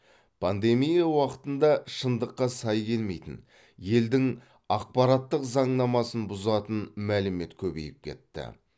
пандемия уақытында шындыққа сай келмейтін елдің ақпараттық заңнамасын бұзатын мәлімет көбейіп кетті